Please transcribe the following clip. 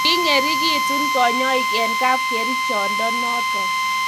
king'ering'itun kanyoik eng' kapkerichonde noto